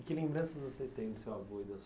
E que lembranças você tem do seu avô e da sua